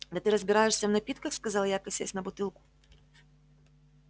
да ты разбираешься в напитках сказал я косясь на бутылку